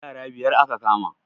Yara biyar aka kama